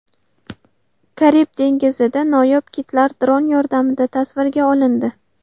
Karib dengizida noyob kitlar dron yordamida tasvirga olindi .